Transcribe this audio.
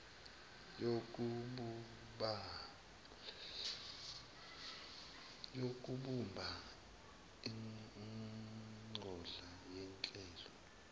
yokubumba ingodla yehlelo